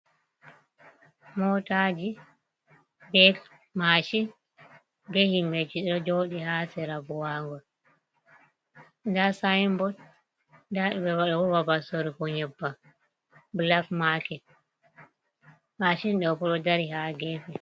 Mootaji, be mashin, be himɓeji do joɗi ha sera buwangol. Nda saibotwa nda ɗobo babal sorugo ƴebbam bulak maket mashin ɗoɓo ɗo dari ha gefe.